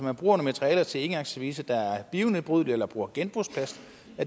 at bruge materialer til engangsservice der er nedbrydelige eller bruge genbrugsplast